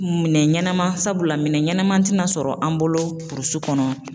Minɛn ɲɛnama sabula minɛn ɲɛnama tɛna sɔrɔ an bolo burusi kɔnɔ